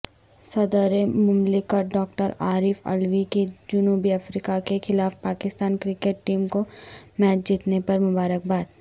صدرمملکت ڈاکٹرعارف علوی کی جنوبی افریقہ کے خلاف پاکستان کرکٹ ٹیم کومیچ جیتنے پرمبارکباد